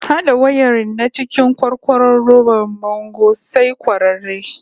Hada wayarin na cikin kwarkwaro robar bango sai kwararre